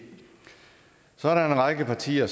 så er der en række partier